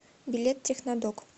билет технодок